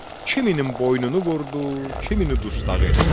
Kiminin boynunu vurdu, kimini dustaq elədi.